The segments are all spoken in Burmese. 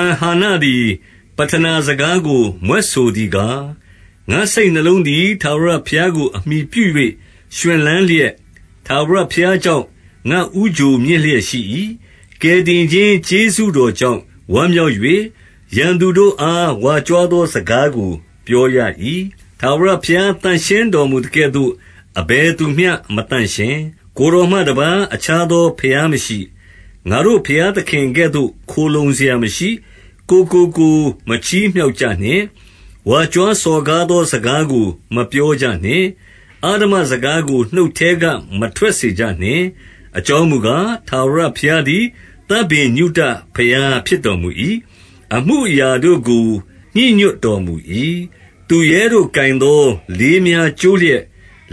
န် ဟန္နသည် ပဌနာစကားကို မြွက်ဆိုသည်ကား၊ ငါ့စိတ်နှလုံးသည် ထာဝရဘုရားကို အမှီပြု၍ ရွှင်လန်းလျက်၊ ထာဝရဘုရားကြောင့် ငါ့ဦးချိုမြင့်လျက် ရှိ၏။ ကယ်တင်ခြင်း ကျေးဇူးတော်ကြောင့် ဝမ်းမြောက်၍၊ ရန်သူတို့အား ဝါကြွားသောစကားကို ပြောရ၏။ 2 ထာဝရဘုရား သန့်ရှင်းတော်မူသကဲ့သို့ အဘယ်သူမျှမသန့်ရှင်း။ ကိုယ်တော်မှတပါး အခြားသော ဘုရားမရှိ။ 3 ငါတို့ ဘုရားသခင်ကဲ့သို့သော ခိုလှုံစရာမရှိ။ ကိုယ့်ကိုကိုယ် မချီးမြှောက်ကြနှင့်။ ဝါကြွားစော်ကားသော စကားကိုမပြောကြနှင့်။ အဓမ္မစကားကို နှုတ်ထဲက မထွက်စေကြနှင့်။ အကြောင်းမူကား၊ ထာဝရဘုရားသည် သဗ္ဗညုတဘုရား ဖြစ်တော်မူ၏။ အမှုအရာတို့ကို ညှိညွှတ်တော်မူ၏။ 4 သူရဲတို့ ကိုင်သောလေးများ ကျိုးလျက်၊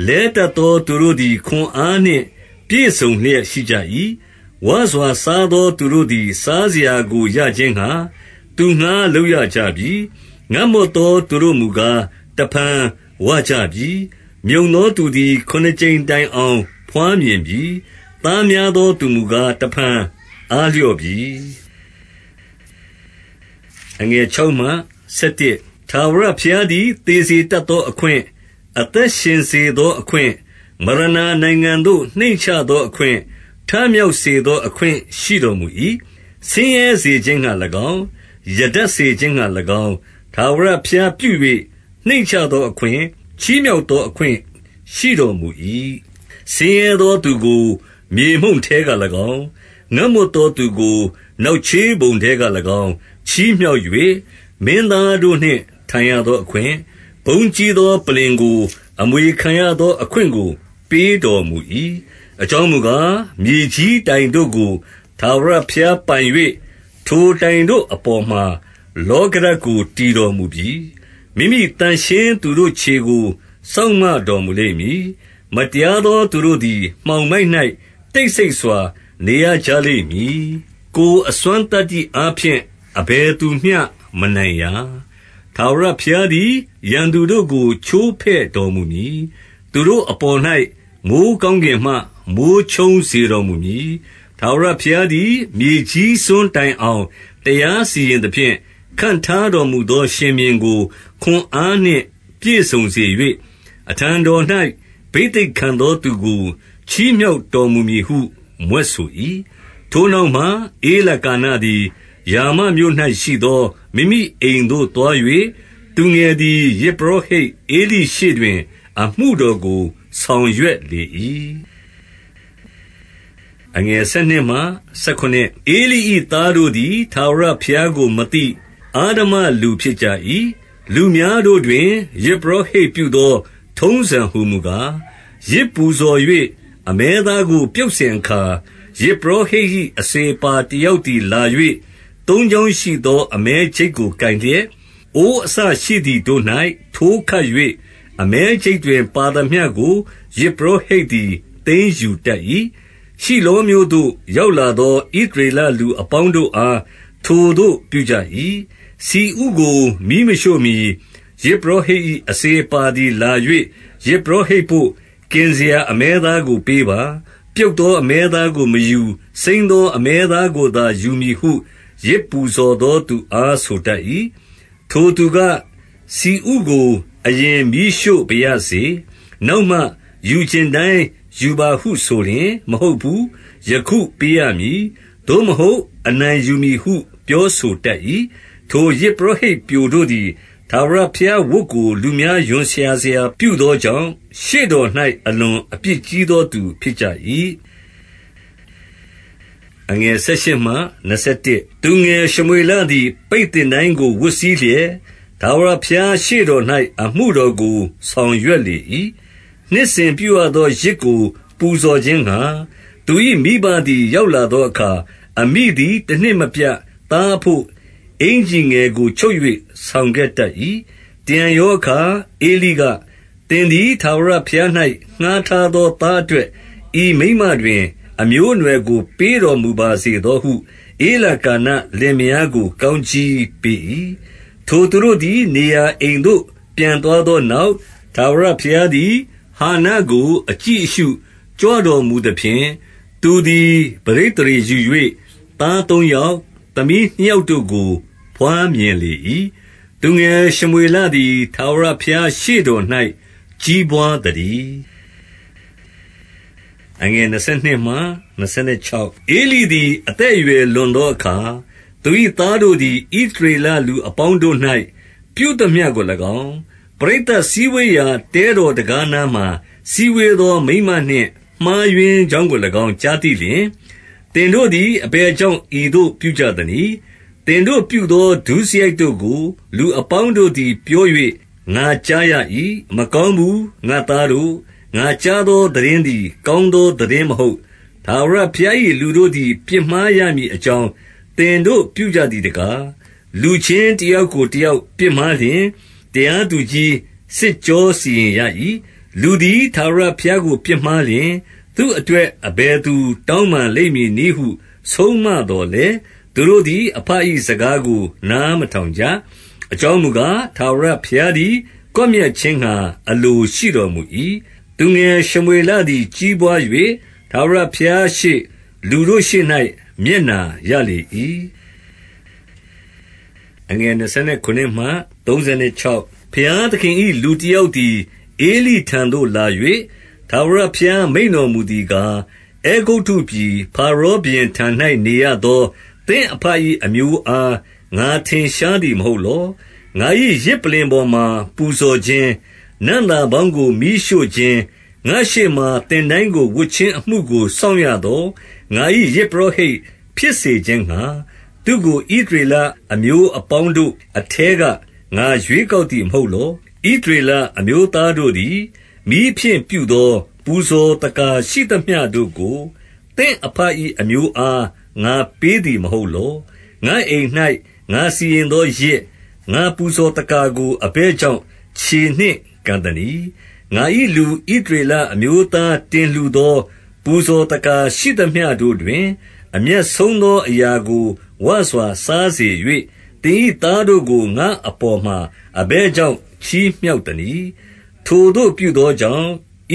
လဲတတ်သော သူတို့သည် ခွန်အားနှင့် ပြည့်စုံလျက် ရှိကြ၏။ 5 ဝစွာစားသောသူတို့သည် စားစရာကို ရခြင်းငှါ၊ သူငှါး လုပ်ကြရပြီ။ ငတ်မွတ်သော သူတို့မူကား၊ တဖန် ဝကြပြီ။ မြုံသောသူသည် ခုနှစ်ကြိမ်တိုင်အောင် ဘွားမြင်ပြီ။ သားများသောသူမူကား၊ တဖန် အားလျော့ပြီ။ 6 ထာဝရဘုရားသည် သေစေသော အခွင့်၊ အသက်ရှင်စေသောအခွင့်၊ မရဏာနိုင်ငံသို့ နှိမ့်ချသောအခွင့်၊ ထမြောက်စေသောအခွင့် ရှိတော်မူ၏။ 7 ဆင်းရဲစေခြင်းငှါ၎င်း၊ ရတတ်စေခြင်းငှါ၎င်း၊ ထာဝရဘုရားပြု၍၊ နှိမ့်ချသောအခွင့်၊ ချီးမြှောက်သော အခွင့်ရှိတော်မူ၏။ 8 ဆင်းရဲသောသူကို မြေမှုန့်ထဲက၎င်း၊ ငတ်မွတ်သောသူကို နောက်ချေးပုံထဲက၎င်း ချီးမြှောက်၍၊ မင်းသားတို့နှင့် ထိုင်ရသောအခွင့်၊ ဘုန်းကြီးသောပလ္လင်ကို အမွေခံရသောအခွင့်ကို ပေးတော်မူ၏။ အကြောင်းမူကား၊ မြေကြီးတိုင်တို့ကို ထာဝရဘုရားပိုင်၍ ထိုတိုင်တို့အပေါ်မှာ လောကဓာတ်ကို တည်တော်မူပြီ။ 9 မိမိသန့်ရှင်းသူတို့ခြေကို စောင့်မတော်မူလိမ့်မည်။ မတရားသောသူတို့သည် မှောင်မိုက်၌ တိတ်ဆိတ် စွာ နေရကြလိမ့်မည်။ ကိုယ်အစွမ်းသတ္တိအားဖြင့် အဘယ်သူမျှ မနိုင်ရာ။ 10 ထာဝရဘုရားသည် ရန်သူတို့ကို ချိုးဖဲ့တော်မူမည်။ သူတို့အပေါ်၌ မိုဃ်းကောင်းကင်မှ မိုဃ်းချုန်း စေတော်မူမည်။ ထာဝရဘုရားသည် မြေကြီးစွန်းတိုင်အောင် တရားစီရင်သဖြင့်၊ ခန့်ထားတော်မူသော ရှင်ဘုရင်ကို ခွန်အားနှင့် ပြည့်စုံစေ၍ အထံတော်၌ ဘိသိက်ခံသောသူကို ချီးမြှောက်တော်မူမည်ဟု မြွက်ဆို၏။ 11 ထိုနောက်မှ၊ ဧလကာနသည် ရာမမြို့၌ရှိသော မိမိအိမ်သို့သွား၍၊ သူငယ်သည် ယဇ်ပုရောဟိတ် ဧလိရှေ့တွင် အမှုတော်ကို ဆောင်ရွက်လေ၏။ 12 ဧလိ၏သားတို့သည် ထာဝရဘုရားကို မသိ၊ အဓမ္မလူဖြစ်ကြ၏။ 13 လူများတို့တွင် ယဇ်ပုရောဟိတ်ပြုသော ထုံးစံဟူမူကား၊ ယဇ်ပူဇော်၍ အမဲသားကို ပြုတ်စဉ်အခါ၊ ယဇ်ပုရောဟိတ်၏ အစေအပါတယောက်သည်လာ၍ သုံးချောင်းရှိသော အမဲချိတ်ကို ကိုင်လျက်၊- 14 အိုးအစရှိသည်တို့၌ ထိုးခပ်၍၊ အမဲချိတ်တွင် ပါသမျှကို ယဇ်ပုရောဟိတ်သည် သိမ်းယူတတ်၏။ ရှီလောမြို့သို့ ရောက်လာသော ဣသရေလလူအပေါင်းတို့အား ထိုသို့ပြုကြ၏။ 15 ဆီဥကို မီးမရှို့မှီ၊ ယဇ်ပုရောဟိတ်၏ အစေအပါသည်လာ၍၊ ယဇ်ပုရောဟိတ်ဘို့ ကင်စရာအမဲသား ကို ပေးပါ။ ပြုတ်သော အမဲသားကို မယူ။ စိမ်းသော အမဲသားကိုသာ ယူမည်ဟု ယဇ်ပူဇော်သော သူအား ဆိုတတ်၏။ 16 ထိုသူက၊ ဆီဥကိုအရင် မီးရှို့ပါရစေ။ နောက်မှ ယူချင်တိုင်းယူပါဟုဆိုလျှင်၊ မဟုတ်ဘူး ယခုပေးရမည်။ သို့မဟုတ် အနိုင်ယူမည်ဟု ပြောဆိုတတ်၏။ 17 ထိုယဇ်ပုရောဟိတ် ပျိုတို့သည်၊ ထာဝရဘုရားဝတ်ကို လူများ ရွံစရာပြုသောကြောင့်၊ ရှေ့တော်၌ အလွန်အပြစ်ကြီးသောသူ ဖြစ်ကြ၏။ 18 သူငယ် ရှမွေလသည် ပိတ်သင်တိုင်းကို ဝတ်စည်းလျက်၊ ထာဝရဘုရားရှေ့၌ အမှုတော်ကို ဆောင်ရွက် လေ၏။ - 19 နှစ်စဉ်ပြုရသော ယဇ်ကို ပူဇော်ခြင်းငှါ၊ သူ၏ မိဘသည် ရောက်လာသောအခါ၊ အမိသည် တနှစ် မပြတ်သားအဘို့ အင်္ကျီငယ်ကို ချုပ်၍ ဆောင်ခဲ့တတ်၏။ 20 တရံရောအခါ၊ ဧလိက၊ သင်သည် ထာဝရဘုရား၌ ငှါးထားသော သားအတွက်၊ ဤမိန်းမတွင် အမျိုး အနွှယ်ကို ပေးတော်မူပါစေသောဟု ဧလကာနလင်မယားကို ကောင်းကြီးပေး၏။ ထိုသူတို့သည် နေရာ အိမ်သို့ ပြန်သွားသောနောက်၊ 21 ထာဝရဘုရားသည် ဟန္နကို အကြည့်အရှုကြွတော်မူသဖြင့်၊ သူသည် ပဋိသန္ဓေယူ၍၊ သားသုံးယောက်၊ သမီးနှစ်ယောက်တို့ကို ဘွားမြင်လေ၏။ သူငယ်ရှမွေလသည် ထာဝရဘုရားရှေ့တော်၌ ကြီးပွား သတည်း။ 22 ဧလိသည် အသက်အရွယ်လွန်သောအခါ၊ သူ၏သားတို့သည် ဣသရေလလူအပေါင်းတို့၌ ပြုသမျှ ကို၎င်း၊ ပရိသတ်စည်းဝေးရာ တဲတော်တံခါးနားမှာ စည်းဝေးသောမိန်းမနှင့် မှားယွင်းကြောင်းကို ၎င်း ကြားသိလျှင်၊ 23 သင်တို့သည် အဘယ်ကြောင့် ဤသို့ပြုကြသနည်း။ သင်တို့ပြုသော ဒုစရိုက်တို့ကို လူအပေါင်းတို့ သည် ပြော၍ ငါကြားရ၏။ 24 မကောင်းဘူးငါ့သားတို့။ ငါကြားသော သိတင်းသည် ကောင်းသော သိတင်းမဟုတ်။ ထာဝရဘုရား ၏ လူတို့သည် ပြစ်မှားရမည်အကြောင်း၊ သင်တို့ပြုကြသည် တကား။ 25 လူချင်းတယောက်ကို တယောက်ပြစ်မှားလျှင်၊ တရားသူကြီး စစ်ကြောစီရင်ရ၏။ လူသည် ထာဝရ ဘုရားကို ပြစ်မှားလျှင်၊ သူ့အတွက် အဘယ်သူ တောင်းပန်လိမ့်မည်နည်းဟု ဆုံးမသော်လည်း၊ သူ တို့သည် အဘ၏ စကားကို နားမထောင်ကြ။ အကြောင်းမူကား၊ ထာဝရဘုရားသည် ကွပ်မျက်ခြင်း ငှါ အလိုရှိတော်မူ၏။ 26 သူငယ်ရှမွေလသည် ကြီးပွား၍၊ ထာဝရဘုရားရှေ့၊ လူတို့ရှေ့၌ မျက်နှာရလေ၏။ 27 ဘုရားသခင်၏ လူတယောက်သည် ဧလိထံသို့လာ၍ ထာဝရဘုရား မိန့်တော်မူသည်ကား၊ အဲဂုတ္တု ပြည်၊ ဖာရောဘုရင်ထံ၌နေရသော သင့်အဘ၏ အမျိုးအား ငါ ထင်ရှားသည် မဟုတ်လော။ - 28 ငါ၏ ယဇ်ပလ္လင်ပေါ်မှာ ပူဇော်ခြင်း၊ နံ့သာပေါင်းကို မီးရှို့ခြင်း၊ ငါ့ရှေ့မှာ သင်တိုင်းကို ဝတ်ခြင်း အမှုကို စောင့်ရသော ငါ၏ ယဇ်ပုရောဟိတ် ဖြစ်စေခြင်းငှါ၊ သူ့ကို ဣသရေလအမျိုးအပေါင်းတို့ အထဲက ငါရွေးကောက်သည် မဟုတ်လော။ ဣသရေလအမျိုးသားတို့သည် မီးဖြင့်ပြုသော ပူဇော်သက္ကာ ရှိသမျှတို့ကို၊ သင့်အဘ၏ အမျိုးအား ငါပေးသည်မဟုတ်လော။- 29 ငါ့အိမ်၌ ငါစီရင်သောယဇ်၊ ငါ့ပူဇော်သက္ကာကို အဘယ်ကြောင့် ခြေနှင့်ကန်သနည်း။ ငါ၏လူ ဣ သရေလအမျိုးသား တင်လှူသော ပူဇော်သက္ကာရှိသမျှတို့တွင်၊ အမြတ်ဆုံးသော အရာကို ဝစွာစား စေ၍၊ သင်၏သားတို့ကို ငါ့အပေါ်မှာ အဘယ်ကြောင့် ချီးမြှောက်သနည်း။ 30 ထိုသို့ပြုသောကြောင့်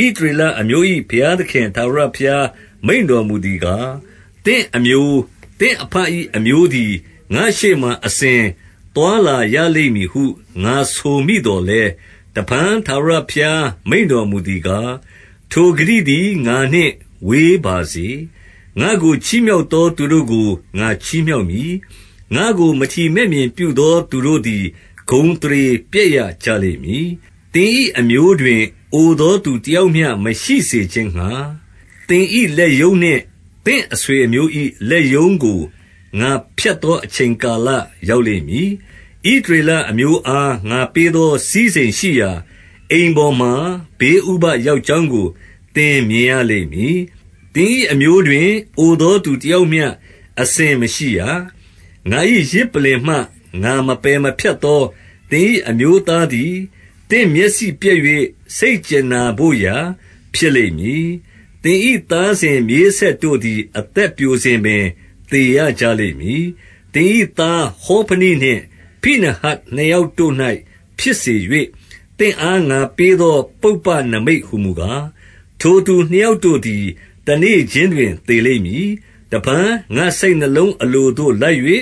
၊ ဣသရေလအမျိုး၏ ဘုရားသခင် ထာဝရဘုရား မိန့်တော်မူသည်ကား၊ သင့် အမျိုး၊ သင့်အဘ၏အမျိုးသည် ငါ့ရှေ့မှာအစဉ် သွားလာရလိမ့်မည်ဟု ငါဆိုမိသော်လည်း၊ တဖန် ထာဝရဘုရား မိန့်တော်မူသည်ကား၊ ထိုဂတိသည် ငါနှင့်ဝေးပါစေ။ ငါ့ကို ချီးမြှောက်သော သူတို့ ကို ငါချီးမြှောက်မည်။ ငါ့ကို မထီမဲ့မြင်ပြုသော သူတို့သည် ဂုဏ်သရေ ပျက်ကြလိမ့်မည်။- 31 သင်၏ အမျိုးတွင် အိုသောသူတယောက်မျှ မရှိစေခြင်းငှါ၊ သင်၏ လက်ရုံးနှင့် သင့်အဆွေအမျိုး ၏ လက်ရုံးကို ငါဖြတ်သော အချိန်ကာလရောက်လိမ့်မည်။- 32 ဣသရေလအမျိုးအား ငါပေးသော စည်းစိမ်ရှိရာ အိမ်ပေါ်မှာ ဘေးဥပဒ်ရောက်ကြောင်းကို သင် မြင်ရလိမ့်မည်။ သင်၏ အမျိုးတွင် အိုသောသူတယောက်မျှ အစဉ်မရှိရ။- 33 ငါ၏ယဇ်ပလ္လင်မှ ငါမပယ်မဖြတ်သော သင်၏အမျိုးသားသည်၊ သင့်မျက်စိပျက်၍ စိတ်ကြင်နာဘို့ ရာဖြစ်လိမ့်မည်။ သင်၏ သားစဉ်မြေးဆက်တို့သည် အသက်ပျိုစဉ်ပင် သေရကြလိမ့်မည်။- 34 သင်၏သား ဟောဖနိနှင့် ဖိနဟတ်နှစ်ယောက်တို့၌ ဖြစ်စေ၍၊ သင့်အား ငါပေးသော ပုပ္ပနိမိတ် ဟူမူကား၊ ထိုသူနှစ်ယောက်တို့သည် တနေ့ခြင်းတွင် သေလိမ့်မည်။ - 35 တဖန် ငါ့စိတ်နှလုံးအလိုသို့ လိုက်၍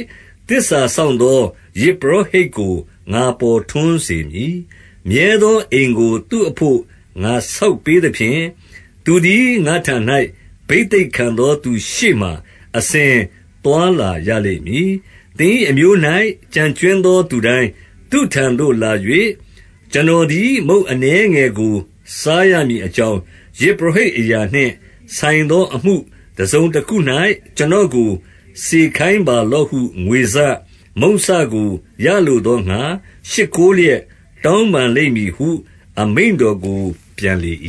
သစ္စာစောင့်သော ယဇ်ပုရောဟိတ်ကို ငါပေါ်ထွန်းစေမည်။ မြဲသောအိမ်ကို သူ့အဘို့ ငါဆောက်ပေးသဖြင့်၊ သူသည် ငါ့ထံ၌ ဘိသိက်ခံသောသူရှေ့မှာ အစဉ် သွားလာရလိမ့်မည်။ 36 သင်၏ အမျိုး၌ ကျန်ကြွင်းသော သူတိုင်းသူ့ထံသို့လာ၍၊ ကျွန်တော်သည် မုန့်အနည်းငယ်ကို စားရ မည်အကြောင်း၊ ယဇ်ပုရောဟိတ်အရာနှင့်ဆိုင်သော အမှုတစုံတခု၌ ကျွန်တော်ကို စေခိုင်းပါလော့ ဟု ငွေစ၊ မုန့်စကို ရလိုသောငှါ၊ ရှိခိုးလျက် တောင်းပန်လိမ့်မည်ဟု အမိန့်တော်ကို ပြန်လေ၏။